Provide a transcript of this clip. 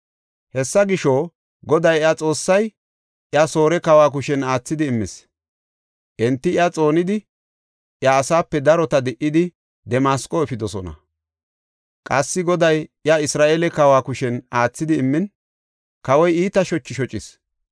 Hessa gisho, Goday iya Xoossay iya Soore kawa kushen aathidi immis. Enti iya xoonidi, iya asaape darota di77idi, Damasqo efidosona. Qassi, Goday iya Isra7eele kawa kushen aathidi immin, kawoy iita shochi shocis.